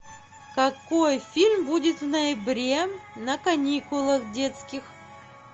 какой фильм будет в ноябре на каникулах детских